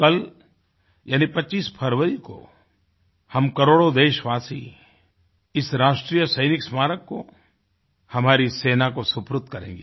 कलयानि 25 फरवरी कोहम करोड़ों देशवासी इस राष्ट्रीय सैनिक स्मारक को हमारी सेना को सुपुर्द करेंगे